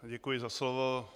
Děkuji za slovo.